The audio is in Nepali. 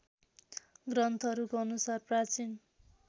ग्रन्थहरूको अनुसार प्राचीन